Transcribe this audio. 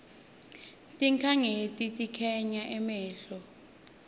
tinkhanyeti tikhanga emehlo